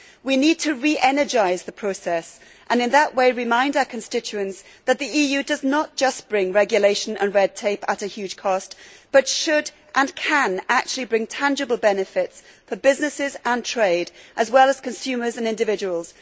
We need to reenergise the process and, in that way, remind our constituents that the EU does not just bring regulation and red tape at a huge cost, but should, and can actually bring tangible benefits for businesses and trade as well as consumers and individuals.